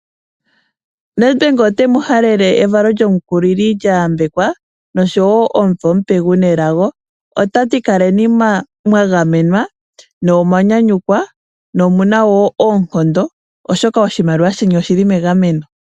Nedbank otemu halele evalo lyomukulili lya yambekwa, nosho woo omuvo omupe guna elago. Otati kaleni mwa gamenwa, ne omwa nyanyukwa, ne omu na woo oonkondo oshoka oshimaliwa sheni oshili megameno.